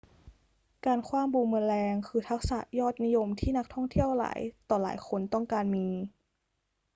การขว้างบูมเมอแรงคือทักษะยอดนิยมที่นักท่องเที่ยวหลายต่อหลายคนต้องการมี